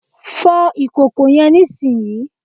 Fo ìkòkò yen nísìnyí